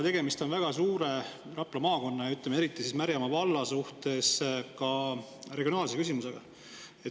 Tegemist on Rapla maakonna ja eriti Märjamaa valla jaoks suure regionaalse küsimusega.